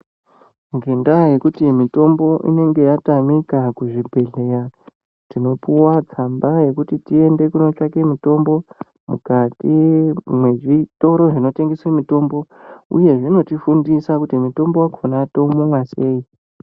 Ngenda yekuti mitombo inenge yatamika kuzvibhehleya tinoipuwa tsamba yekuti tiende kunotsvaka mitombo mukati mwezvitoro zvinotengese mitombo uyu zvinotifundisa kuti mutombo wakona toumwa sei.